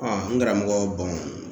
n karamɔgɔ